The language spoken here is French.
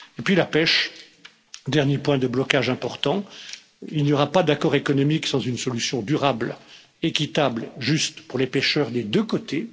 Et puis la pêche, dernier point de blocage important il n'y aura pas d'accord économique sans une solution durable, équitable, juste pour les pêcheurs des deux côtés.